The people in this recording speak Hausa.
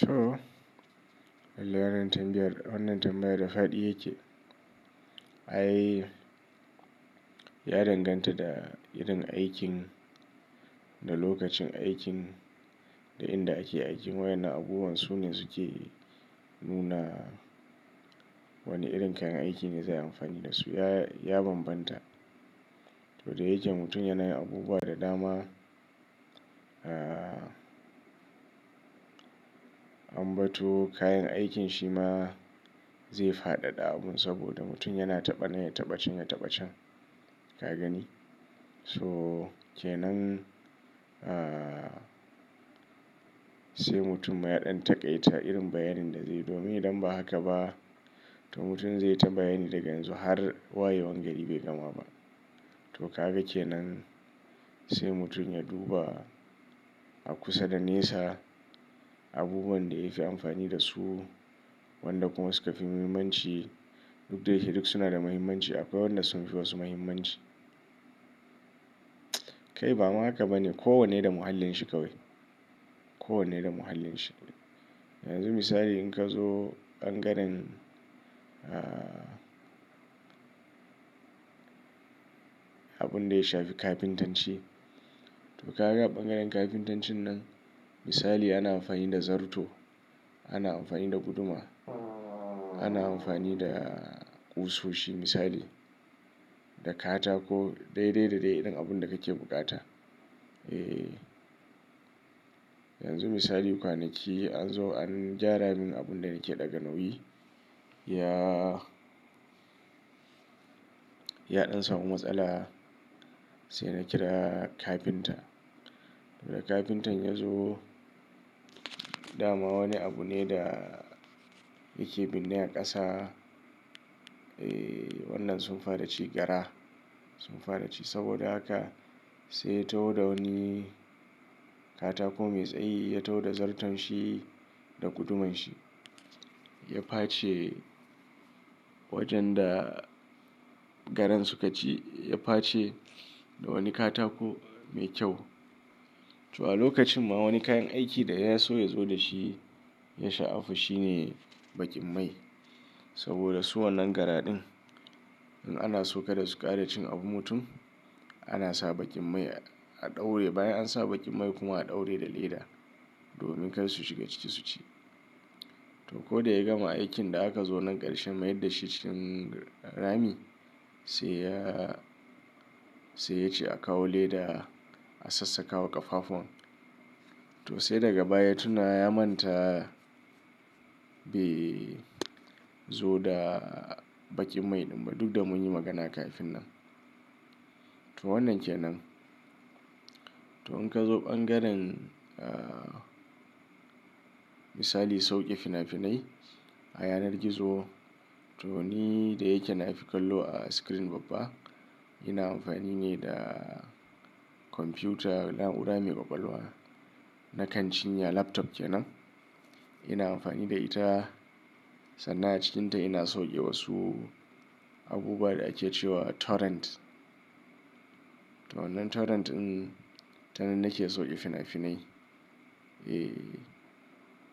Toh! Lallai wannan tambayar, wannan tambayar da faɗi yake, ai ya danganta da irin aikin, da lokacin aikin, da inda ake aikin. Wa innan abubuwan su ne suke nuna wane irin kayan aiki ne za a yi amfani da su. Ya banbanta. To da yake mutum yana yin abubuwa da dama, ah, ambato kayan aikin shi ma zai fadada abun. Saboda mutum yana taɓa na ya taɓa can, ya taɓa can, ka gani? Toh kenan, ah, sai mutum ma yaɗan taƙaita irin bayanin da zaiyi domin idan ba haka ba, to mutum zai yi ta bayani daga yanzu har wayewan gari bai gama ba. To kaga kenan sai mutum ya duba, a kusa da nesa abubuwan da ya fi amfani da su, wanda kuma suka fi muhimmanci. Duk da yake duk su na da muhimmanci, akwai wanda sun fi wasu muhimmanci. Kai ba ma haka bane. Ko wanne da muhallin shi kawai. Ko wanne da muhallin shi. Yanzu misali in ka zo ɓangaren, ah, abun da ya shafi kafintanci. To ka ga ɓangaren kafintancin nan misali ana amfani da zarto, ana amfani da guduma, ana amfani da ƙusoshi misali, da katako, daidai da dai irin abun da kake bukata. Eh. Yanzu misali kwanaki an zo an gyara min abun da nake ɗaga nauyi. Ya, yaɗan samu matsala, sai na kira kafinta. To da kafintan ya zo, dama wani abu ne da yake binne a ƙasa. Eh wannan sun fara ci gara, sun fara ci. Saboda haka sai ya taho da wani katako mai tsayi, ya taho da zarton shi da guduman shi. Ya face wajen da garan suka ci. Ya face da wani katako mai kyau. To a lokacin ma wani kayan aikin da ya so ya zo da shi, ya sha'afi shine baƙin mai. Saboda su wannan gara din, in ana so kada su ƙara cin abun mutum, ana sa baƙin mai a ɗaure. Bayan an sa baƙin mai kuma a ɗaure da leda domin kar su shiga ciki su ci. To ko da ya gama aikin da akan zo na ƙarshe mayar da shi cikin rami sai ya, sai ya ce a kawo leda a sassaka wa ƙafafuwan. To sai daga baya tuna ya manta bai zo da baƙin mai din ba duk da munyi magana kafin nan. To wannan kenan. To in ka zo ɓangaren, ah, misali sauke fina-finai a yanar gizo. To ni da yake nafikallo a screen babba, ina amfani ne da kwamfiyuta naura mai ƙwaƙwalwa na kanchinya laptop kenan. Ina amfani da ita sannan a cikinta ina sauke wasu abubuwa da ake cewa torrent. To wannan torrent in ta nan nake sauke fina-finai. Eh.